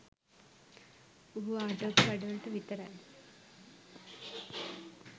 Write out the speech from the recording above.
පුහු ආටෝප වැඩ වලට විතරයි